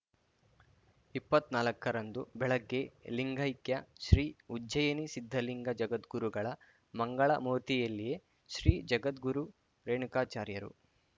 ಇಪ್ಪತ್ನಾಲ್ಕರಂದು ಬೆಳಗ್ಗೆ ಲಿಂಗೈಕ್ಯ ಶ್ರೀ ಉಜ್ಜಯಿನಿ ಸಿದ್ಧಲಿಂಗ ಜಗದ್ಗುರುಗಳ ಮಂಗಳ ಮೂರ್ತಿಯಲ್ಲಿಯೇ ಶ್ರೀ ಜಗದ್ಗುರು ರೇಣುಕಾಚಾರ್ಯರು